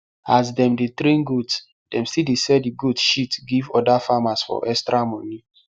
as them dey train goats dem still dey sell the goat shit give oda farmers for extra money